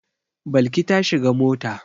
Balki ta shiga mota.